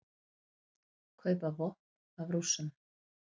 Kaupa vopn af Rússum